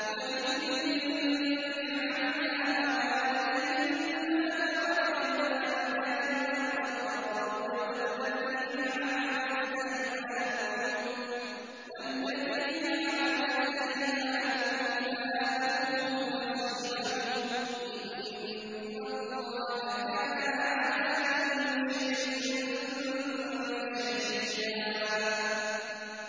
وَلِكُلٍّ جَعَلْنَا مَوَالِيَ مِمَّا تَرَكَ الْوَالِدَانِ وَالْأَقْرَبُونَ ۚ وَالَّذِينَ عَقَدَتْ أَيْمَانُكُمْ فَآتُوهُمْ نَصِيبَهُمْ ۚ إِنَّ اللَّهَ كَانَ عَلَىٰ كُلِّ شَيْءٍ شَهِيدًا